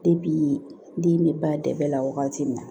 den bɛ ba dɛbɛ la wagati min na